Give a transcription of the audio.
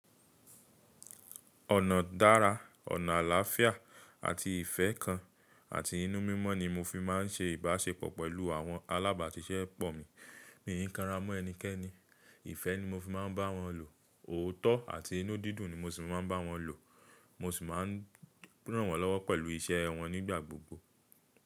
Ọ̀nà dára, ọ̀nà àlàáfíà àti ìfẹ́ kan àti inú mímọ́ ni mo fi má ń ṣe ìbáṣepọ̀ pẹ̀lú àwọn alábàátiṣẹ́pọ̀ mi. Mi ò kí ń kanra mọ́ ẹnikẹ́ni, ìfẹ́ ni mo fi má ń bá wọn lò, òótọ́ àti inú dídùn ni mo sì má ń bá wọn lò, mo sì má ń ràn wọ́n lọ́wọ́ pẹ̀lú iṣẹ́ wọn nígbà gbogbo.